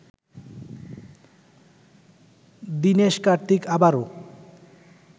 দিনেশ কার্তিক আবারো